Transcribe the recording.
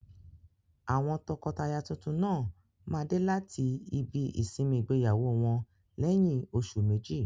Àwọn tọkọtaya tuntun náà máa dé láti ibi ìsinmi ìgbéyàwó wọn lẹ́yìn oṣù méjì.